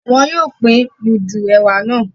Wọn yóò pin mudu ẹwà náà